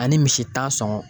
Ani misi tan sɔngɔn.